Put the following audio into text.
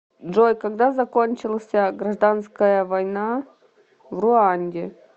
джой когда закончился гражданская война в руанде